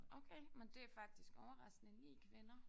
Okay men det er faktisk overraskende 9 kvinder